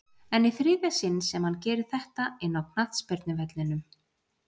En í þriðja sinn sem hann gerir þetta inná knattspyrnuvellinum?